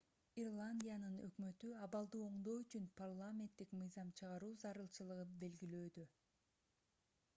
ирландиянын өкмөтү абалды оңдоо үчүн парламенттик мыйзам чыгаруу зарылчылыгын белгилөөдө